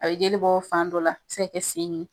A bɛ jelibɔ fan dɔ la, a bɛ se ka kɛ sen ye.